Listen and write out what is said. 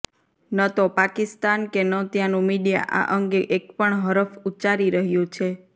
ન તો પાકિસ્તાન કે ન ત્યાનું મીડિયા આ અંગે એક પણ હરફ ઉચ્ચારી રહ્યું છે